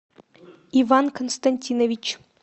иван константинович